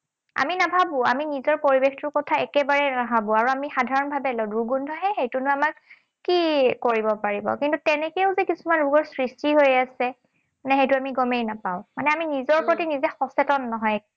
আমি নাভাবো, আমি নিজৰ পৰিৱেশটোৰ কথা একেবাৰেই নাভাবো। আৰু আমি সাধাৰণভাৱে লওঁ, দুৰ্গন্ধ হে, সেইটোৱে নো আমাক কি কৰিব পাৰিব? কিন্তু তেনেকেও যে কিছুমান ৰোগৰ সৃষ্টি হৈ আছে। নে সেইটো আমি গমেই নাপাওঁ। মানে আমি নিজৰ প্ৰতি নিজে সচেতন নহয়।